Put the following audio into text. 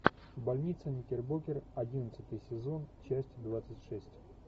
больница никербокер одиннадцатый сезон часть двадцать шесть